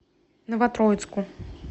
новотроицку